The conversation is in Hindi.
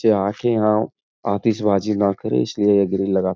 बच्चे आके यहाँ अत्शिबाज़ी ना करे। इसलिये यह ग्रिल लगा --